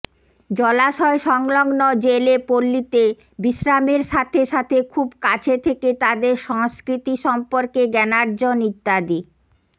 জলাশয় সংলগ্ন জেলে পল্লীতে বিশ্রামের সাথে সাথে খুব কাছে থেকে তাদের সংস্কৃতি সম্পর্কে জ্ঞানার্জন ইত্যাদি